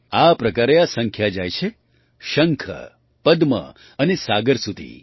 આ પ્રકારે આ સંખ્યા જાય છે શંખ પદ્મ અને સાગર સુધી